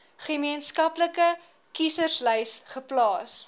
gemeenskaplike kieserslys geplaas